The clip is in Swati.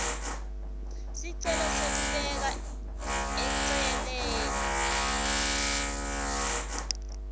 sicelo sekubeka eceleni